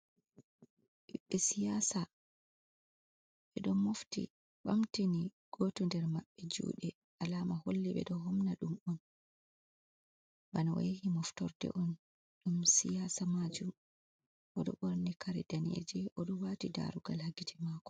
Ɓiɓɓe siyasa ɓe ɗo mofti ɓamtini goto nder maɓɓe juɗe alama holli ɓe ɗo homna ɗum on, bana oyahi moftorde on ɗum siyasa majum, o ɗo ɓorni kare danejum o ɗo wati darugal ha gitte mako.